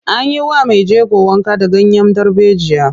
An yi wa mai jego wanka da ganyen darbejiya.